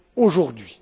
aujourd'hui.